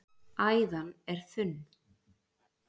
æðan er þunn